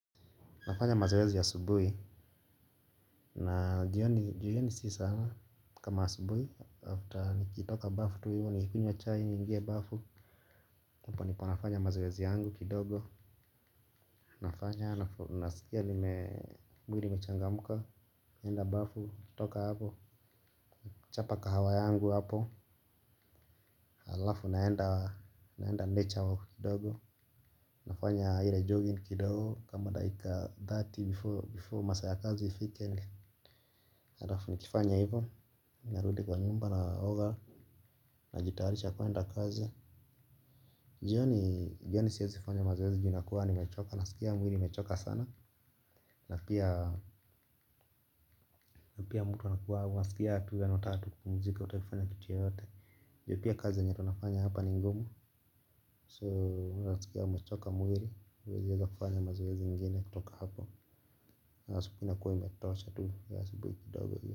Nafanya mazoezi ya asubuhi na jioni si sana kama asubuhi after nikitoka bafu tu hivyo nikunywe chai niingie bafu hapo ndipo nafanya mazoezi yangu kidogo nafanya nasikia mwili imechangamka naenda bafu toka hapo chapa kahawa yangu hapo alafu naenda naenda nature walk kidogo nafanya ile jogging kidogo kama daika thirty before masaa ya kazi ifike. Alafu nikifanya hivyo, ninarudi kwa nyumba na oga, najitayarisha kwenda kazi. Jioni siwezi fanya mazoezi juu nakua nimechoka, nasikia mwili imechoka sana. Na pia mtu, anasikia tu unataka kupumzika hutaki kufanya kitu yoyote juu pia kazi yenye tunafanya hapa ni ngumu, so unasikia umechoka mwili, huwezi weza kufanya mazoezi ingine kutoka hapo ya asubuhi inakua imetosha tu ya asubuhi kidogo hiyo.